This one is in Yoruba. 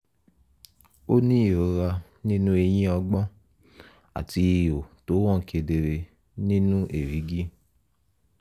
ó ní ìrora nínú eyín ọgbọ́n àti ihò tó hàn kedere nínú èrígì